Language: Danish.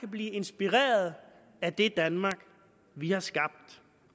blive inspireret af det danmark vi har skabt